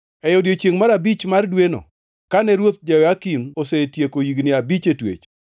E odiechiengʼ mar abich mar dweno, kane ruoth Jehoyakin osetieko higni abich e twech,